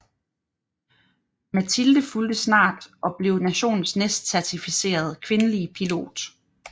Matilde fulgte snart og blev nationens næstcertificerede kvindelige pilot